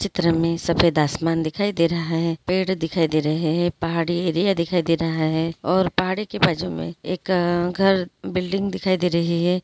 चित्र में सफेद आसमान दिखाई दे रहा हैपेड़ दिखाई दे रहे हैं पहाड़ी एरिया दिखाई दे रहा हैऔर पहाड़ी का बाजु में एक घर बिल्डिंग दिखाई दे रही है।